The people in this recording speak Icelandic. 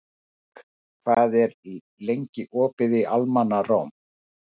Vilberg, hvað er lengi opið í Almannaróm?